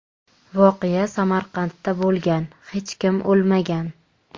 Voqea Samarqandda bo‘lgan, hech kim o‘lmagan.